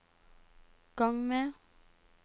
gang med